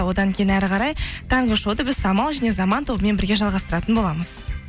одан кейін әрі қарай таңғы шоуды біз самал және заман тобымен бірге жалғастыратын боламыз